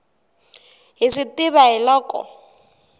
hi swi tiva hi loko